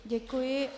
Děkuji.